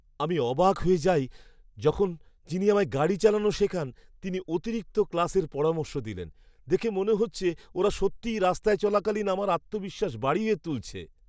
আমি অবাক হয়ে যাই যখন, যিনি আমায় গাড়ি চালানো শেখান তিনি অতিরিক্ত ক্লাসের পরামর্শ দিলেন। দেখে মনে হচ্ছে ওরা সত্যিই রাস্তায় চলাকালীন আমার আত্মবিশ্বাস বাড়িয়ে তুলছে!